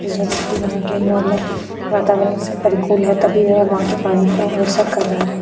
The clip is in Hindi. यह व्यक्ति वहां के नॉर्मल वातावरण से परिकूल है तभी वह वहां के पानी को स कर रहा है।